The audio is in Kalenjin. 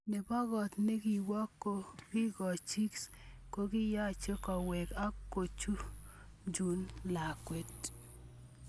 Nebo koot nekiwon kingochingis kokiyanchi kowek ak kochuchun lakwet